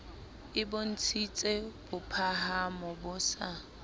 e bontshitse bophahamo bo sa